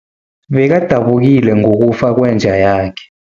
Bekadabukile ngokufa kwenja yakhe.